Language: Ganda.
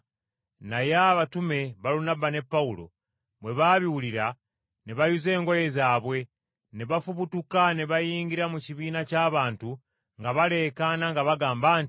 Naye abatume, Balunabba ne Pawulo, bwe baabiwulira, ne bayuza engoye zaabwe, ne bafubutuka ne bayingira mu kibiina ky’abantu nga baleekaana nga bagamba nti,